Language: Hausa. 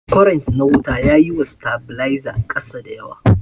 kwarent na wuta yaƴi wa stabiliza kasa dayawa.